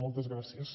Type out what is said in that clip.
moltes gràcies